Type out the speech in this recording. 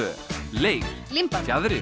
leir límband fjaðrir